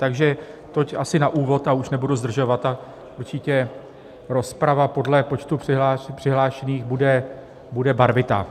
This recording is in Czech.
Takže toť asi na úvod a už nebudu zdržovat a určitě rozprava podle počtu přihlášených bude barvitá.